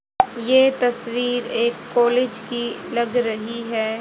ये तस्वीर एक कॉलेज की लग रही है।